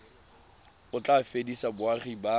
o tla fedisa boagi ba